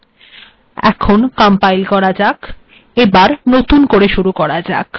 compile করা যাক নতুন করে লেখা শুরু করা যাক